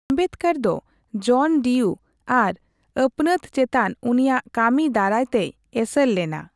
ᱟᱢᱵᱮᱫᱽᱠᱚᱨ ᱫᱚ John Dewey ᱟᱨ ᱟᱹᱯᱱᱟᱹᱛ ᱪᱮᱛᱟᱱ ᱩᱱᱤᱭᱟᱜ ᱠᱟᱹᱢᱤ ᱫᱟᱨᱟᱭᱛᱮᱭ ᱮᱥᱮᱨ ᱞᱮᱱᱟ ᱾